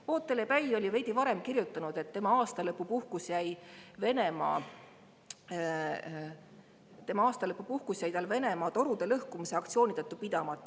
Vootele Päi oli veidi varem kirjutanud, et tema aastalõpupuhkus jäi Venemaa torude lõhkumise aktsiooni tõttu pidamata.